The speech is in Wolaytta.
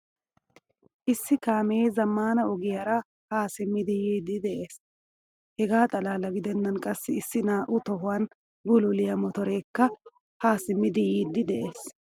Issi kaame zammaana ogiyaara ha simmidi yiidi de'ees. Hega xalala gidenan qassi issi naa'u tohuwan bululiyaa motorekka ha simmidi yiidi de'ees.